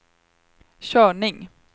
körning